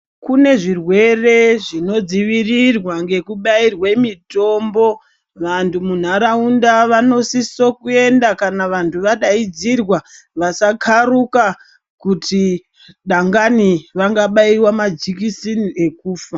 Kune zvirwere zvinodzivirirwa ngekubairwe mitombo. Vanhu munharaunda vanosise kuenda kana vadaidzirwa vasakharuka kuti dangani vangabairwe majekiseni okufa.